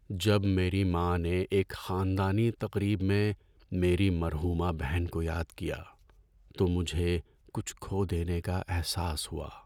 جب میری ماں نے ایک خاندانی تقریب میں میری مرحومہ بہن کو یاد کیا تو مجھے کچھ کھو دینے کا احساس ہوا۔